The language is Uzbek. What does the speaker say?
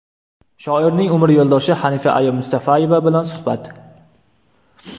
Shoirning umr yo‘ldoshi Xanifa aya Mustafayeva bilan suhbat .